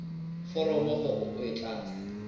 foromo hore o e tlatse